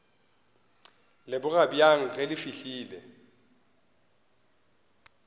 leboga bjang ge le fihlile